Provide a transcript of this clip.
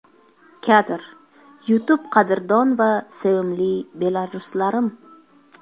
Kadr: YouTube Qadrdon va sevimli belaruslarim!